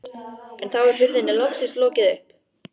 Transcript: En þá er hurðinni loksins lokið upp.